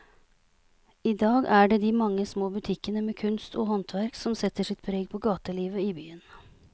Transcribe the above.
I dag er det de mange små butikkene med kunst og håndverk som setter sitt preg på gatelivet i byen.